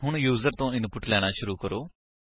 ਹੁਣ ਯੂਜਰ ਤੋ ਇਨਪੁਟ ਲੈਣਾ ਸ਼ੁਰੂ ਕਰੋ